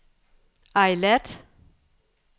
Eilat